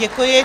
Děkuji.